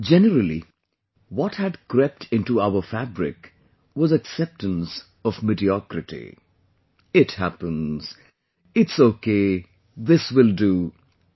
Generally, what had crept into our fabric was acceptance of mediocrity..."It happens", "It's okay this will do"